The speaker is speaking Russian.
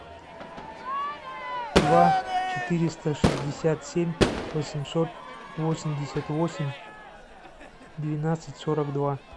два четыреста шестьдесят семь восемьсот восемьдесят восемь двенадцать сорок два